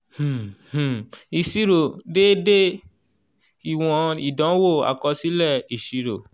um um ìṣirò déédé ìwọ̀n ìdánwò àkọsílẹ̀ ìṣirò. um